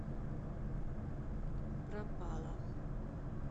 пропала